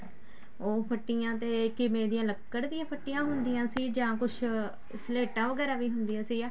ਉਹ ਫੱਟੀਆਂ ਤੇ ਕਿਵੇਂ ਦੀਆਂ ਲੱਕੜ ਦੀਆਂ ਫੱਟੀਆਂ ਹੁੰਦੀਆਂ ਸੀ ਜਾਂ ਕੁੱਝ ਸਲੇਟਾਂ ਵਗੈਰਾ ਵੀ ਹੁੰਦੀਆਂ ਸੀ